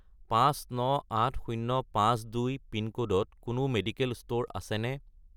598052 পিনক'ডত কোনো medical store আছেনে?